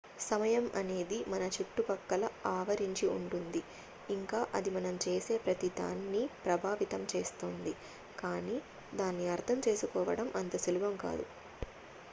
సమయం అనేది మన చుట్టుపక్కల ఆవరించి ఉంటుంది ఇంకా అది మనం చేసే ప్రతి దాన్ని ప్రభావితం చేస్తుంది కానీ దాన్ని అర్ధం చేసుకోవడం అంత సులభం కాదు